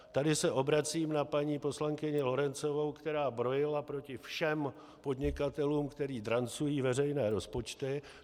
Tady se obracím na paní poslankyni Lorencovou, která brojila proti všem podnikatelům, kteří drancují veřejné rozpočty.